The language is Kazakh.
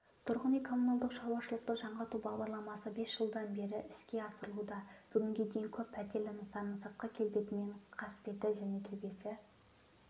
тұрғын үй-коммуналдық шаруашылықты жаңғырту бағдарламасы бес жылдан бері іске асырылуда бүгінге дейін көп пәтерлі нысанның сыртқы келбеті мен қасбеті және төбесі